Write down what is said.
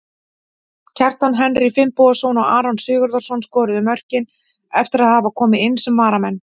Kjartan Henry Finnbogason og Aron Sigurðarson skoruðu mörkin eftir að hafa komið inn sem varamenn.